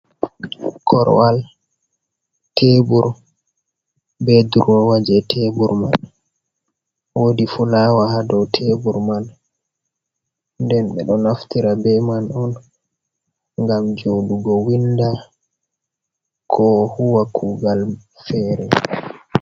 Korowal tebur be durowa je tebur man, wodi fulawa hadow tebur man, nden ɓeɗo naftira be man on ngam joɗugo winda ko huwa kugal fere.